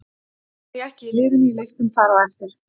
Samt var ég ekki í liðinu í leiknum þar á eftir.